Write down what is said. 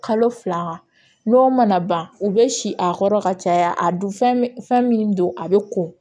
Kalo fila n'o mana ban u bɛ si a kɔrɔ ka caya a dun fɛn min don a bɛ ko